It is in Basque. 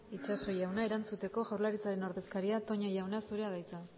itxaso jauna erantzuteko jaurlaritzaren ordezkaria toña jauna zurea da hitza